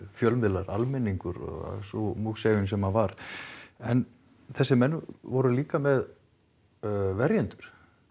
fjölmiðlar almenningur og sú múgsefjun sem varð en þessir menn voru líka með verjendur